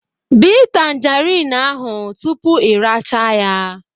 Bee tangerine ahụ tupu ị rachaa ya